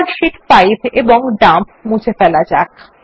এবার শীট 5 এবং ডাম্প মুছে ফেলা যাক